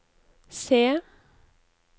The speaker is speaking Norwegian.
se